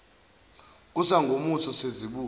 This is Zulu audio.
kusa ngomuso sezibuya